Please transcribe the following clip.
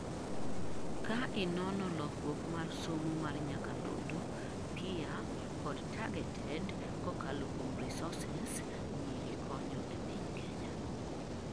kaa inono lokruok mar somo mar nyakalondo, peer kod targeted kokalo kuom resources nyiri konyo ee piny Kenya